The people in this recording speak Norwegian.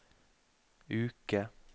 uke